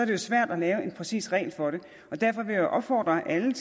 jo svært at lave en præcis regel for det og derfor vil jeg opfordre alle